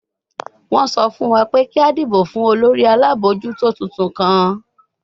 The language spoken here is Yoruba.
Wọ́n sọ fún wa pé kí a dìbò fún olórí alábòójútó tuntun kan